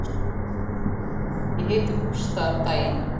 Ég hitti Gústa um daginn.